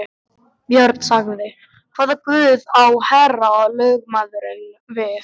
Björn sagði: Hvaða guð á herra lögmaðurinn við.